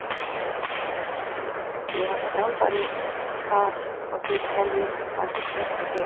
Ég var þjálfari þar og þið teljið að það sé pressa hér?